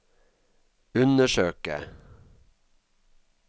undersøke